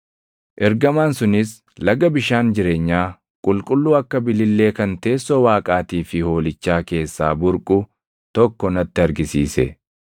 Ergamaan sunis laga bishaan jireenyaa, qulqulluu akka bilillee kan teessoo Waaqaatii fi Hoolichaa keessaa burqu tokko natti argisiise;